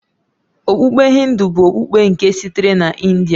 Okpukpe Hindu bụ okpukpe nke sitere na India